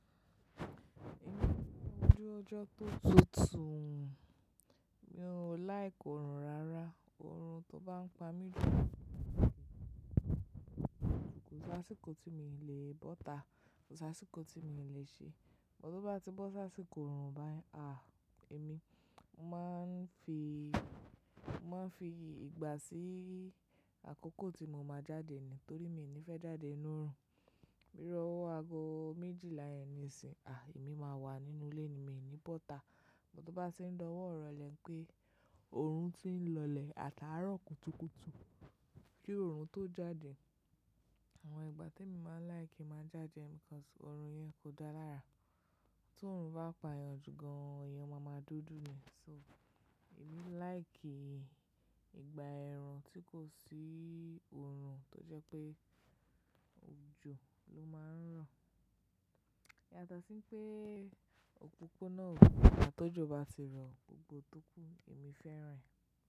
Nígbà ojú ọjọ́ tó tutù, mi ò like òrùn rárá. Òrùn tó bá ń pa mi òrùn kò sí àsìkò tí mo lè bọ́ta, kò sí àsìkò tí mo lè ṣe. Bo tó bá ti bọ́ sáàsìkò òrùn báyìí, à! Èmi máa ń fi, máa ń fi ìgbà sí àkókò tí mo máa jáde ni, torí mi ò ní fẹ́ jáde nínú òrùn. Bí iru ọwó ago méjìlá ẹni si, à! Èmi máa wà nínú ilé ni, mi ò ní bọ́ta. Bo tó bá ti ń dáwọ́ ìrọ̀lẹ́ pé òrùn tí ń lọlẹ̀ àtàárọ̀ kùtùkùtù kí òrùn tó jáde. Àwọn ìgbà tí mo máa like máa jáde nìkan tí òrùn yẹn kò dá lára. Tí òrùn bá payan jù gan, ẹyàn máa ma dúdú ni. So, èmi like ìgbà ẹ̀rùn tí kò sí òrùn tó jẹ́ pé òjò ló máa ń ràn. Yàtosí pé òpópónà ò gbọ́dọ̀ ká tó jò bá sì rọ̀ gbogbo tó kù, èmi fẹ́ràn rẹ̀.